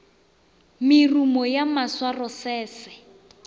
merumo ya maswaro se se